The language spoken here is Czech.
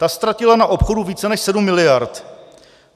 Ta ztratila na obchodu více než 7 miliard.